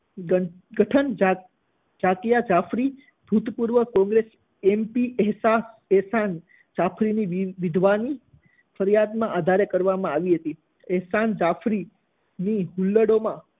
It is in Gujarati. ગઠ~ગઠન જાત~જાકિયા જાફરી, ભૂતપૂર્વ-કોંગ્રેસ એમપી એહ્સા~એહસાન જાફરીની વિધવાની ફરિયાદના આધારે કરવામાં આવી હતી, એહસાન જાફરીની હુલ્લડોમાં